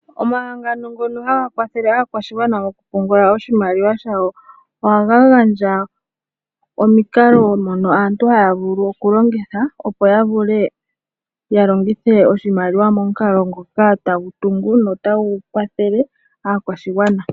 Omahangano ngono haga kwathele aakwashigwana okupungula oshimaliwa shawo ohaga gandja omikalo mono aantu haya vulu okulongitha, opo ya vule ya longithe oshimaliwa momukalo ngoka tagu tungu notagu kwathele aakwashigwana.